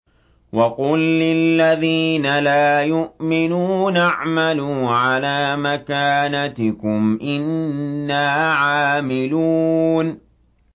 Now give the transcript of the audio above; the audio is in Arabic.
وَقُل لِّلَّذِينَ لَا يُؤْمِنُونَ اعْمَلُوا عَلَىٰ مَكَانَتِكُمْ إِنَّا عَامِلُونَ